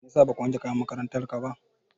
Meyasa baka wanke kayan makarantar ka ba?